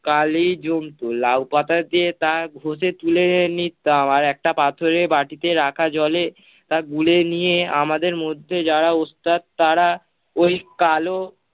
কালি জমত। লাউ-পাতা দিয়ে তা ঘষে তুলে নিতাম আর একটা পাথরের বাটিতে রাখা জলে তা গুলে নিয়ে আমাদের মধ্যে যারা ওস্তাদ তারা ওই কালো-